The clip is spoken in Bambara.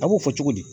A b'o fɔ cogo di